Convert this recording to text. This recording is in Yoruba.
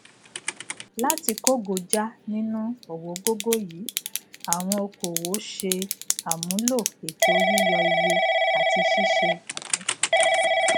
láti kógojá nínu ọwọgógó yìí àwọn okòòwò ṣe àmúlò ètò yíyọ iye àti ṣíṣe atúnṣe